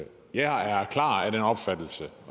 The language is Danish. jeg er klart af den opfattelse